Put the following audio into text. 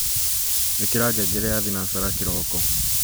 ikira ngengere ya thinashara kiroko